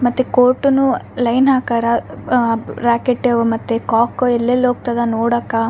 ಮತ್ತೆ ಕೋರ್ಟ್ನು ಲೈನ್ ಹಾಕಾರ ಆ ರಾಕೆಟ್ಟು ಆವ ಮತ್ತೆ ಕಾಕ ಎಲ್ಲೆಲ್ಲಿ ಹೋಗ್ತಾದ ನೋಡಕ್ಕ.